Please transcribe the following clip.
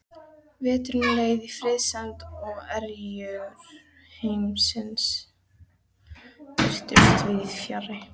Veturinn leið í friðsemd svo erjur heimsins virtust víðsfjarri.